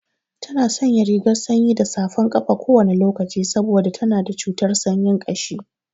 Tana sanya rigar sanyi da safan ƙafa kowane lokaci saboda tana da cutar sanyin ƙashi.